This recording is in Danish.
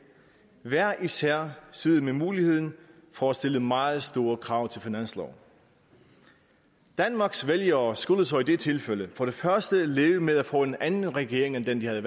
hver især sidde med muligheden for at stille meget store krav til finansloven danmarks vælgere skulle så i det tilfælde for det første leve med at få en anden regering end den de havde